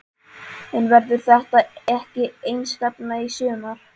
En verður þetta ekki einstefna í sumar?